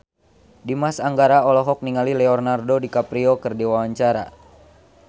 Dimas Anggara olohok ningali Leonardo DiCaprio keur diwawancara